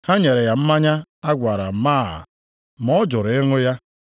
Ha nyere ya mmanya a gwara máá, ma ọ jụrụ ịṅụ ya.